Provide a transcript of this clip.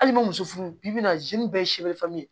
Hali n ma muso furu bi bi in na bɛɛ ye ye